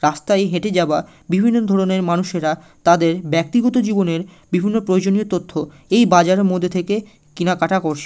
রাস্তায় হেটে যাওয়া বিভিন্ন ধরণের মানুষেরা তাদের ব্যাক্তিগত জীবনের বিভিন্ন প্রয়োজনীয় তথ্য এই বাজারের মধ্যে থেকে কিনাকাটা করছে।